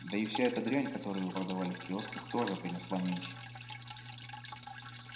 да и вся эта дрянь которую вы продавали в киосках тоже принесла меньше